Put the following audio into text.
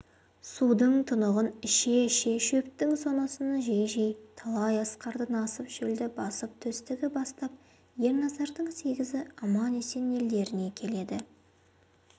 судың тұнығын іше-іше шөптің сонысын жей-жей талай асқардан асып шөлді басып төстігі бастап ерназардың сегізі аман-есен елдеріне келеді